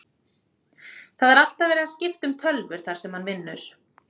Það er alltaf verið að skipta um tölvur þar sem hann vinnur.